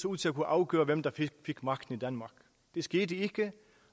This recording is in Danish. ud til at kunne afgøre hvem der fik magten i danmark det skete ikke